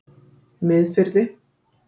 Miðfirði